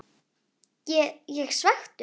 Ég ég svekktur?